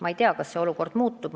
Ma ei tea, kas see olukord muutub.